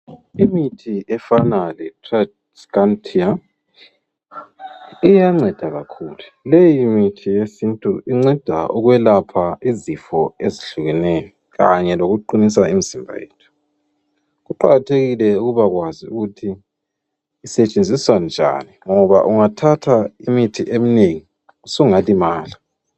imithi efana le transretinal iyancedakakhulu leyomithi yesintu inceda ukwelapha izifo ezihlukeneyo kanye loku qhinisa imzimba yethu kuqhakathekile ukubakwazi ukuthi isetshenziswa njani ngoba ungathatha imithi eminengi sungalimala